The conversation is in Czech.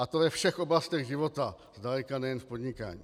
A to ve všech oblastech života, zdaleka nejen v podnikání.